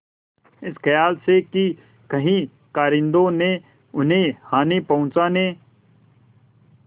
इस खयाल से कि कहीं कारिंदों ने उन्हें हानि पहुँचाने